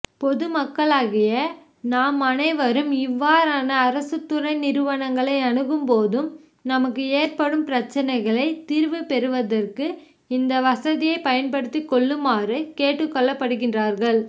பொதுமக்களாகிய நாம் அனைவரும் இவ்வாறான அரசுதுறைநிறுவனங்களை அனுகும்போதும் நமக்கு ஏற்படும் பிரச்சினைகளை தீர்வுபெறுவதற்கு இந்த வசதியை பயன்படுத்திகொள்ளுமாறு கேட்டுகொள்ளபடுகின்றார்கள்